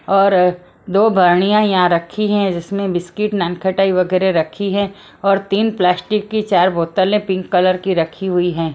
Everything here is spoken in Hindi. और दो भरणियां यहां रखी हैं जिसमें बिस्किट ननखटाई वगैरह रखी है और तीन प्लास्टिक की चार बोतलें पिंक कलर की रखी हुई हैं।